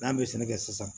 N'an bɛ sɛnɛ kɛ sisan